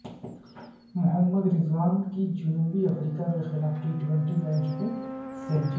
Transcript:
محمد رضوان کی جنوبی افریقہ کےخلاف ٹی ٹوئنٹی میچ مین سنچری